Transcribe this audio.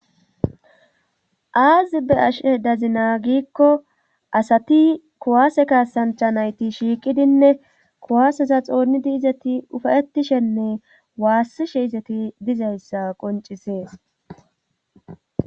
Aazi be'ashe dazinaa gikko asati kuwaase kasancha nayti shiiqidinne kuwaaseza xoonidi izeti ufayetishenne waassishe izeti dizayssa qoncisees.